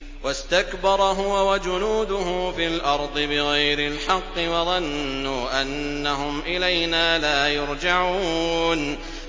وَاسْتَكْبَرَ هُوَ وَجُنُودُهُ فِي الْأَرْضِ بِغَيْرِ الْحَقِّ وَظَنُّوا أَنَّهُمْ إِلَيْنَا لَا يُرْجَعُونَ